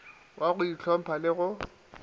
wa go ntlhompha le go